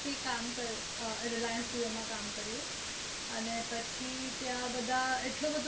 હા reliance jio માં કામ કર્યું પછી ત્યાં બધું